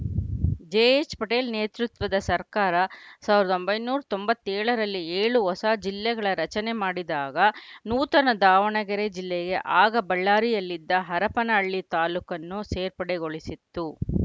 ಜೆಎಚ್‌ಪಟೇಲ್‌ ನೇತೃತ್ವದ ಸರ್ಕಾರ ಸಾವಿರದ ಒಂಬೈನೂರ ತೊಂಬತ್ತ್ ಏಳರಲ್ಲಿ ಏಳು ಹೊಸ ಜಿಲ್ಲೆಗಳ ರಚನೆ ಮಾಡಿದಾಗ ನೂತನ ದಾವಣಗೆರೆ ಜಿಲ್ಲೆಗೆ ಆಗ ಬಳ್ಳಾರಿಯಲ್ಲಿದ್ದ ಹರಪನಹಳ್ಳಿ ತಾಲೂಕನ್ನು ಸೇರ್ಪಡೆ ಗೊಳಿಸಿತ್ತು